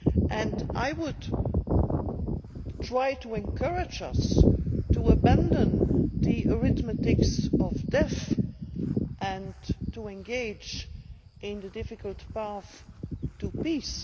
And I would try to encourage us to abandon the arithmetic of death and to engage in the difficult path to peace.